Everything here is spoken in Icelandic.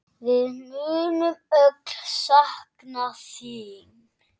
Við munum öll sakna þín.